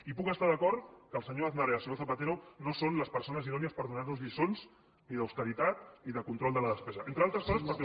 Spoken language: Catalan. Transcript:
i puc estar d’acord que el senyor aznar i el senyor zapatero no són les persones idònies per donar nos lliçons ni d’austeritat ni de control de la despesa entre altres coses perquè